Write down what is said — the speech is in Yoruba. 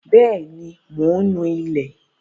Bẹ́ẹ̀ ní, mò ń nú ilẹ̀.